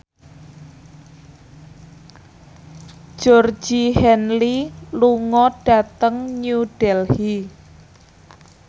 Georgie Henley lunga dhateng New Delhi